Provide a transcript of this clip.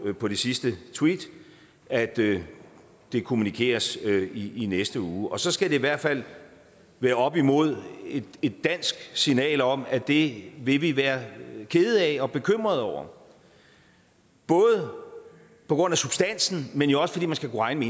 på det sidste tweet at det det kommunikeres i i næste uge og så skal det i hvert fald være op imod et dansk signal om at det vil vi være kede af og bekymrede over både på grund af substansen men jo også fordi man skal kunne regne